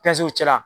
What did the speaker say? cɛla